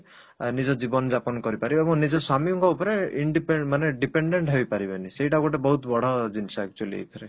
ଅ ନିଜ ଜୀବନ ଜାପାନ କରିପାରିବେ ଏବଂ ନିଜ ସ୍ଵାମୀଙ୍କ ଉପରେ independent ମାନେ dependent ହେଇପାରିବେନି ସେଇଟା ଗୋଟେ ବଡ ଜିନିଷ actually ଏଇଥିରେ